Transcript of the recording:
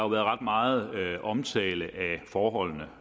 været ret meget omtale af forholdene